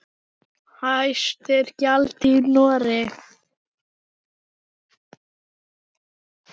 Hæst er gjaldið í Noregi.